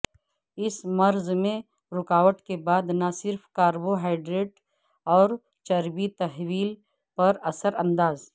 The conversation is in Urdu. اس مرض میں رکاوٹ کے بعد نہ صرف کاربوہائیڈریٹ اور چربی تحول پر اثر انداز